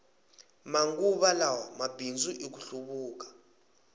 manguva lawa mabindzu i ku hluvuka